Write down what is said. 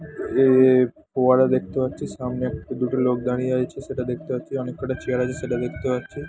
এ ফোয়ারা দেখতে পাচ্ছি। সামনে একটি দুটো লোক দাঁড়িয়ে আছে সেটা দেখতে পাচ্ছি। অনেক কটা চেয়ার আছে সেটা দেখতে পাচ্ছি।